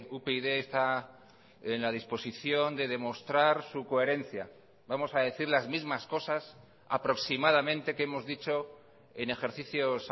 upyd está en la disposición de demostrar su coherencia vamos a decir las mismas cosas aproximadamente que hemos dicho en ejercicios